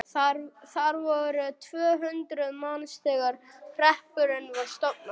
Þar voru yfir tvö hundruð manns þegar hreppurinn var stofnaður.